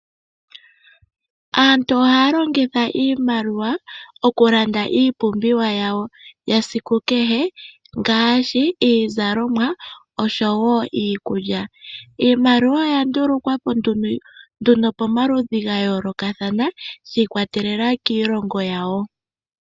Aantu oha ya longitha iimaliwa okulanda iipumbiwa yawo yesiku kehe ngaashi iizalomwa oshowo iikulya. Iimaliwa oya ndulukwa po nduno pamaludhi ga yoolokathana shi ikwatelela kiilongo yawo.